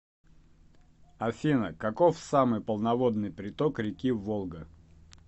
афина каков самый полноводный приток реки волга